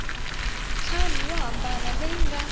ntlhanu yo hambana leyi nga